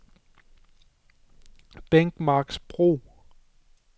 Bækmarksbro